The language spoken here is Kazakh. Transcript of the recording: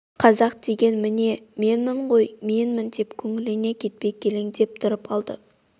қазақ деген міне менмін ғой менмін деп көңілінен кетпей көлбеңдеп тұрып алды